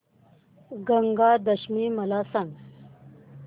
गंगा दशमी मला सांग